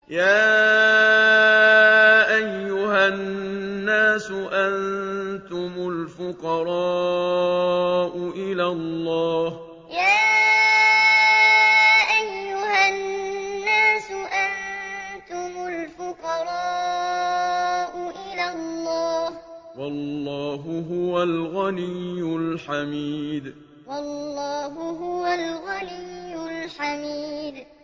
۞ يَا أَيُّهَا النَّاسُ أَنتُمُ الْفُقَرَاءُ إِلَى اللَّهِ ۖ وَاللَّهُ هُوَ الْغَنِيُّ الْحَمِيدُ ۞ يَا أَيُّهَا النَّاسُ أَنتُمُ الْفُقَرَاءُ إِلَى اللَّهِ ۖ وَاللَّهُ هُوَ الْغَنِيُّ الْحَمِيدُ